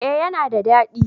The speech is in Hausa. eh ya na da dadi